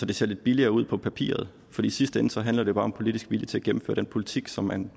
det ser lidt billigere ud på papiret for i sidste ende handler det bare om politisk vilje til at gennemføre den politik som man